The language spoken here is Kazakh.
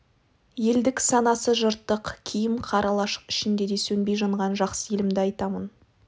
елдік санасы жыртық киім қара лашық ішінде де сөнбей жанған жақсы елімді айтамын